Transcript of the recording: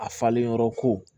A falenyɔrɔ ko